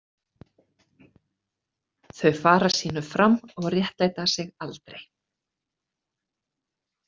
Þau fara sínu fram og réttlæta sig aldrei.